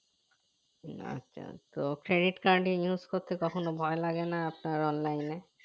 আচ্ছা তো credit card use করতে কখনো ভয় লাগে না আপনার online